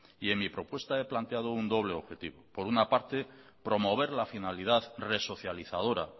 y en mi propuesta he planteado un doble objetivo por una parte promover la finalidad resocializadora